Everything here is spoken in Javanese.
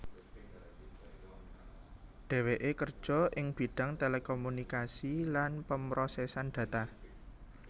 Dheweké kerja ing bidhang telekomunikasi lan pemrosesan data